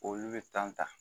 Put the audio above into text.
Olu bɛ ta